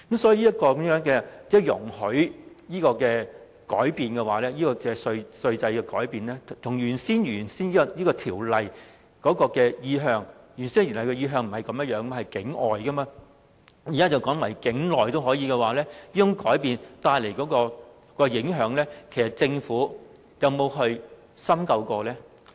所以，政府容許的稅制改變與《條例草案》的原意不同，其原意是向境外的營運機構提供稅務優惠，現在則改為境內的營運機構也可同樣受惠，這改變所帶來的影響，其實政府有否深究呢？